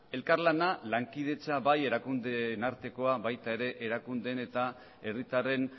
lankidetza bai erakundeen artekoa eta baita erakundeen eta herritarren